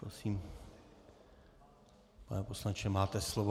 Prosím, pane poslanče, máte slovo.